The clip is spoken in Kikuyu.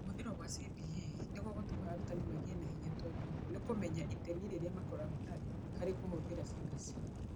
Kũhũthĩrwo kwa CBA nĩ gũgũtũma arutani magĩe na hinya tondũ nĩ kũmenyaga itemi rĩrĩa makoragwo narĩo harĩ kũhũthĩra CBC.